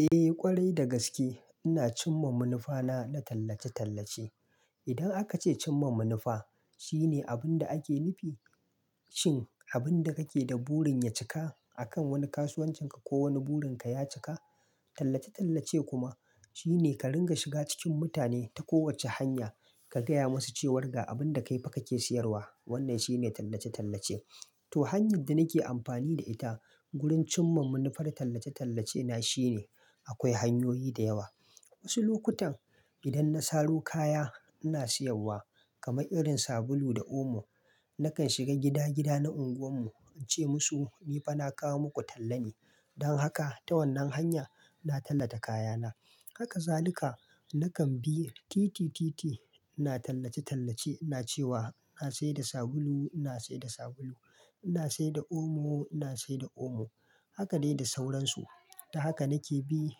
Eh ƙwarai dagaske ina cimma manufana na tallace-tallace. Idan aka ce cimma manufa, shine abin da ake nufi shin abin da kake da burin ya cika akan wani kasuwancinka ko wani burinka ya cika. Tallace-tallace kuma shine ka ringa shiga cikin mutane ta kowacce hanya ka gaya musu cewar ga abin da kai fa kake siyarwa. Wannan shine tallace-tallace. To hanyar da nake amfani da ita wurin cimma munifar tallace-tallace na shine, akwai hanyoyi da yawa. Wasu lokutan idan na saro kaya ina siyarwa kamar irin sabulu da omo, nakan shiga gida-gida na unguwar mu ince musu "ni fa na kawo muku talla ne". Don haka ta wannan hanya na tallata kaya na. Haka zalika nakan bi titi-titi ina tallace-tallace. Ina cewa "ina saida sabulu, ina saida sabulu, ina saida omo, ina saida omo”. Haka dai da sauransu. Ta haka nake bi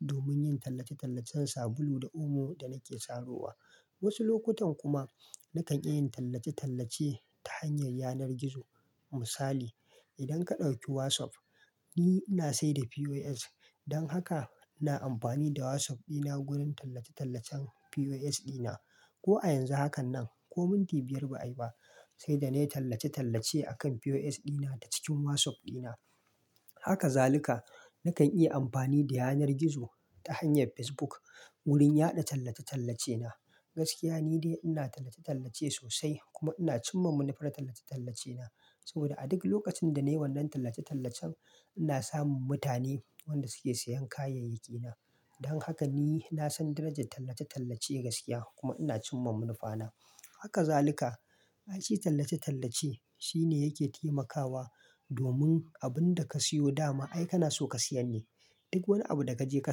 domin yin tallace-tallacen sabulu da omo da nake saro wa. Wasu lokutan kuma nakan iya yin tallace-tallace ta hanyar yanar gizo. Misali idan ka ɗauki WhatsApp, ni ina sayar da POS. Don haka ina amfani da WhatsApp dina wurin tallace-tallacen POS dina. Ko a yanzu hakan nan, ko minti biyar ba ayi ba sai da na yi tallace-tallace akan POS dina ta cikin WhatsApp dina. Haka zalika nakan iya amfani da yanar gizo ta hanyar Facebook wurin yada tallace-tallace na. Gaskiya ni dai ina tallace-tallace sosai kuma ina cimma manufar tallace-tallace na. Saboda a duk lokacin da na yi wannan tallace-tallacen ina samun mutane wanda suke siyan kayayyaki na. Don haka ni na san darajar tallace-tallace gaskiya kuma ina cimma munifana. Haka zalika, ai shi tallace-tallace shine yake taimakawa domin abin da ka siyo dama ai kana so ka siyar ne. Duk wani abu da ka je ka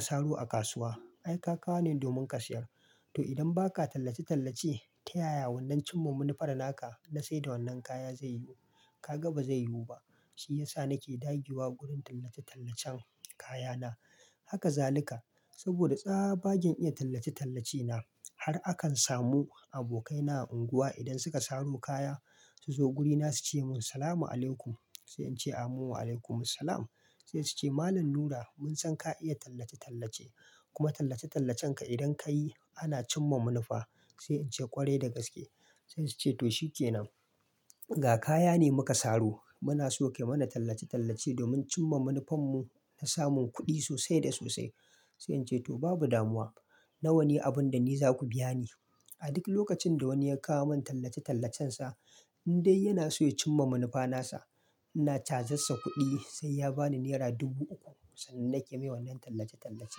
saro a kasuwa ai ka kawo ne domin ka siyar. To idan ba ka tallace-tallace ta yaya wannan cimma manifar naka na sayar da wannan kaya zai yi? Ka ga ba zai yiwu ba. Shi ya sa nake dagewa wurin tallace-tallacen kaya na. Haka zalika saboda tsabagen iya tallace-tallace na har akan samu abokaina a unguwa idan suka saro kaya suzo gurina suce min "salam alaykum". Sai ince "amu alaykum salam". Sai suce "Malam Nura mun san ka iya tallace-tallace kuma tallace-tallacen ka idan kayi ana cimma manufa". Sai ance "ƙwarai dagaske". Sai suce "to shikenan ga kaya ne muka saro muna so kayi mana tallace-tallace domin cimma manufar mu na samun kuɗi sosai da sosai." Sai ince "to babu damuwa. Nawane abun da ni zaku biya ni?" A duk lokacin da wani ya kawo mun tallace-tallacen sa in dai yana so ya cimma manufa nasa, ina cazarssa kuɗi sai ya bani nera dubu uku. Sannan nake mai wannan tallace-tallace.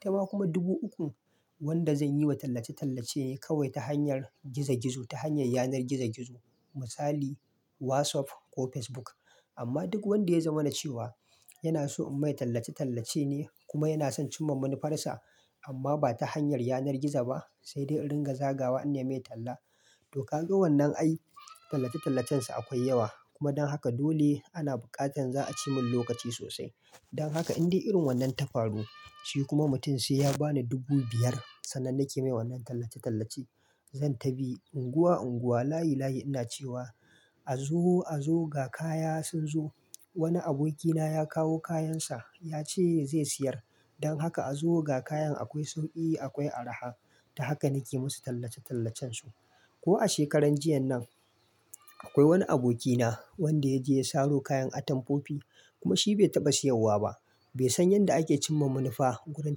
Itama kuma dubu ukun wanda zan yi wa tallace-tallace kawai ta hanyar gizo-gizo ta hanyar yanar gizo-gizo misali WhatsApp ko Facebook. Amma duk wanda ya zamana cewa yana so in mai tallace-tallace ne kuma yana son cimma manifar sa amma ba ta hanyar yanar gizo ba sai dai in ringa zagawa in ya mai talla. To ka ga wannan ai tallace-tallacen sa akwai yawa. Kuma dan haka dole ana bukatar za a ci mun lokaci sosai. Dan haka in dai irin wannan tafaru shi kuma mutum sai ya bani dubu biyar, sannan nake mai wannan tallace-tallace zan tabi unguwa-unguwa layi-layi ina cewa "a zo a zo ga kaya sun zo. Wani aboki na ya kawo kayan sa ya ce zai siyar. Don haka a zo ga kayan akwai sauki akwai araha." Ta haka nake musu tallace-tallacen su. Ko a shekaran jiya nan akwai wani aboki na wanda ya je ya saro kayan atamfofi kuma shi bai taɓa siyarwa ba. Bai san yanda ake cimma manifa wurin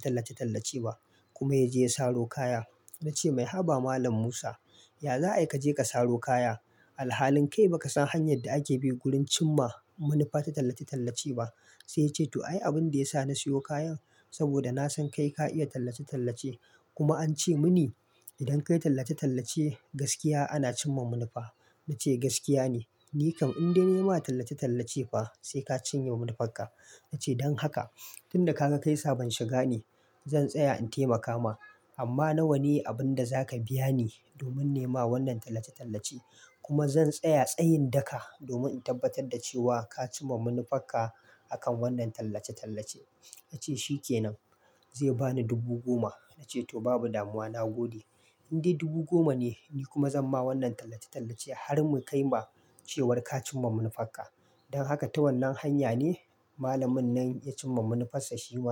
tallace-tallace ba kuma ya je ya saro kaya. Na ce "mai haba Malam Musa, ya za ai ka je ka saro kaya? Alhalin kai baka san hanyar da ake bi wurin cimma manifa ta tallace-tallace ba." Sai yace "to ai abin da ya sa na siyo kayan saboda na san kai ka iya tallace-tallace kuma an ce muni idan ka yi tallace-tallace gaskiya ana cimma manifa." Na ce "gaskiya ne. Ni kam in dai nayi ma tallace-tallace ba sai ka cinye manifarka." Na ce "don haka tun da ka ka kaisa ban shiga ne. Zan tsaya in taimaka ma amma na wane abun da zaka biya ni domin nema wannan tallace-tallace? Kuma zan tsaya tsayin daka domin in tabbatar da cewa ka cimma munifarka akan wannan tallace-tallace." Na ce "shikenan." Zai bani dubu goma. Na ce "to babu damuwa." Na gode. In dai dubu goma ne ni kuma zan ma wannan tallace-tallace har mu kai ma cewar ka cimma manifarka. Don haka ta wannan hanya ne Malamin nan ya cimma manifarsa shi ma.